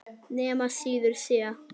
Þrjú mörk eiga að duga.